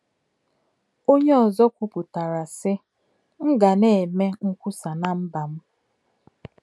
Onye ọzọ kwupụtara, sị: “ M ga na - eme nkwusa ná mba m! ”